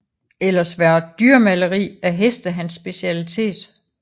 Ellers var dyremaleri af heste hans specialitet